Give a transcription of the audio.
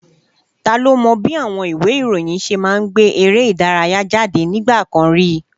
Ta ló mọ bí àwọn ìwé ìròyìn ṣe máa ń gbé eré ìdárayá jáde nígbà kan rí?